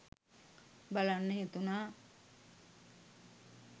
බලන්න හිතුනා